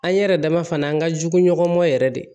An ɲɛ yɛrɛ dama fana an ka jugu ɲɔgɔn yɛrɛ de